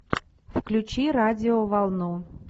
включи радиоволну